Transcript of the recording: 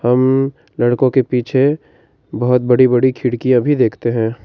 हम लड़कों के पीछे बहुत बड़ी बड़ी खिड़कियां भी देखते हैं।